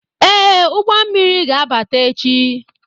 Ee, ụgbọ mmiri ga-abata echi